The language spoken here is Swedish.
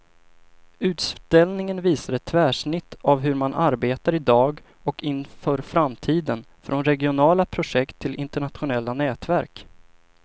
Utställningen visar ett tvärsnitt av hur man arbetar i dag och inför framtiden, från regionala projekt till internationella nätverk.